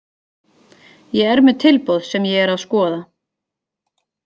Ég er með tilboð sem ég er að skoða.